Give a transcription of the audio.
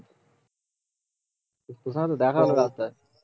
তোকে হয় তো দেখাবে রাস্তায় ও